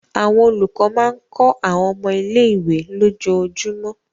Àwọn olùkọ́ máa ń kọ́ àwọn ọmọ ilé-ìwé lójoojúmọ́.